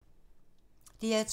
DR2